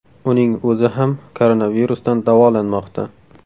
Uning o‘zi ham koronavirusdan davolanmoqda .